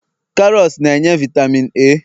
karots na-enye vitamin A